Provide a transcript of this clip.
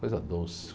Coisa doce.